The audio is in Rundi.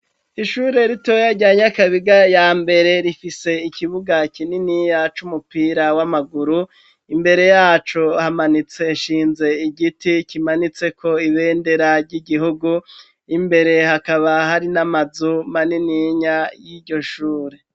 Ishure ritoya ryanyakabiga ya mbere rifise ikibuga kinini ya c' umupira w'amaguru imbere yaco hamanitse shinze igiti kimanitse ko ibenderarya igihugu imbere hakaba hari n'amazuma nininya y'iryo shure.